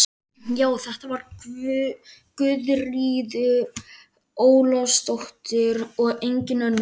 Já, þetta var Guðríður Ólafsdóttir og engin önnur!